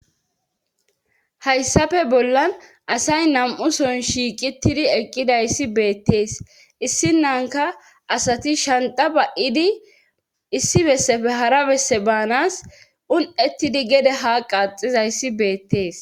hayssafe bollan asay nam7uson shiiqitidi eqqidayssi beettees issinanka asati shanta ba7idi issi bessefe hara besse baanas un7ettidi gede ha qaaxizayssi beettees